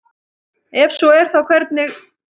ef svo er þá hvernig